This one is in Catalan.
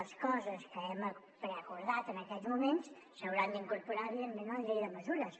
les coses que hem preacordat en aquest moment s’hauran d’incorporar evidentment a la llei de mesures